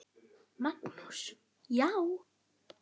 Magnús: Já.